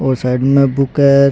और साइड में बुक है।